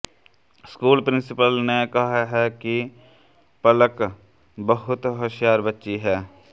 school principal ने कहा है कि पलक बहुत होशियार बच्ची है